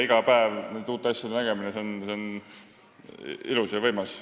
See tähendab iga päev uute asjade nägemist, mis on ilus ja võimas.